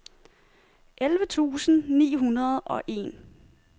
elleve tusind ni hundrede og en